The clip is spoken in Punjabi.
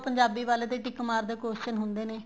ਪੰਜਾਬੀ ਵਾਲੇ ਤੇ thick mark ਦੇ question ਹੁੰਦੇ ਨੇ